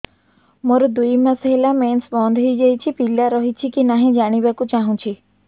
ମୋର ଦୁଇ ମାସ ହେଲା ମେନ୍ସ ବନ୍ଦ ହେଇ ଯାଇଛି ପିଲା ରହିଛି କି ନାହିଁ ଜାଣିବା କୁ ଚାହୁଁଛି